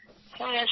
হ্যাঁ স্যার